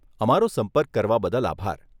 અમારો સંપર્ક કરવા બદલ આભાર.